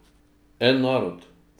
En narod!